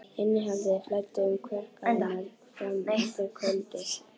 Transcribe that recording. Innihaldið flæddi um kverkarnar fram eftir kvöldi.